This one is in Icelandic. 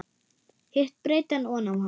Hitt breiddi hann oná hann.